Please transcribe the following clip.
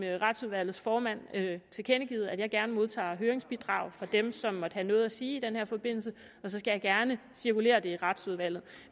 retsudvalgets formand tilkendegivet at jeg gerne modtager høringsbidrag fra dem som måtte have noget at sige i den her forbindelse og så skal jeg det cirkulere i retsudvalget